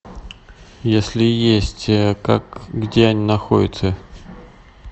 если есть как где они находятся